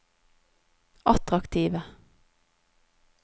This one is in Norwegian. attraktive